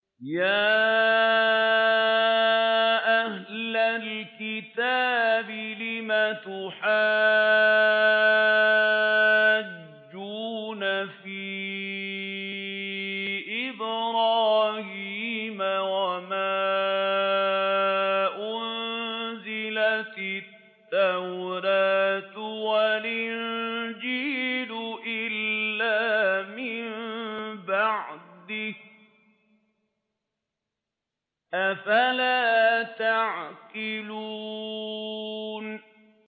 يَا أَهْلَ الْكِتَابِ لِمَ تُحَاجُّونَ فِي إِبْرَاهِيمَ وَمَا أُنزِلَتِ التَّوْرَاةُ وَالْإِنجِيلُ إِلَّا مِن بَعْدِهِ ۚ أَفَلَا تَعْقِلُونَ